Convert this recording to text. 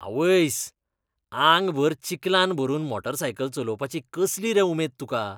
आवयस, आंगभर चिकलान भरून मोटारसायकल चलोवपाची कसली रे उमेद तुका?